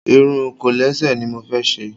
Irun kọ̀lẹ́sẹ̀ ni mo fẹ́ ṣe.